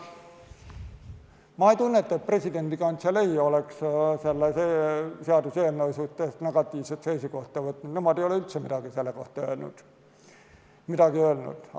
Ma ei tunneta, et presidendi kantselei oleks selle seaduseelnõu suhtes negatiivse seisukohta võtnud, nad ei ole üldse midagi selle kohta öelnud.